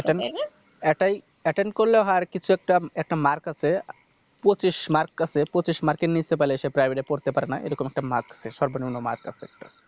এখানে একাই Attend করলে হয় আর কিছু একটা একটা Mark আছে পঁচিশ Mark আছে পঁচিশ Mark এর নিচে পেলে সে Private এ পড়তে পারে না এরকম একটা Mark আছে সর্বনিম্ন Mark আছে একটা